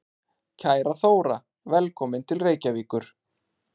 Kæra Þóra. Velkomin til Reykjavíkur.